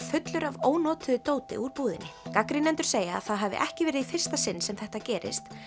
fullur af ónotuðu dóti úr búðinni gagnrýnendur segja að það hafi ekki verið í fyrsta sinn sem þetta gerist